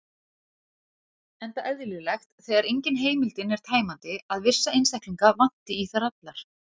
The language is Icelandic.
Enda eðlilegt, þegar engin heimildin er tæmandi, að vissa einstaklinga vanti í þær allar.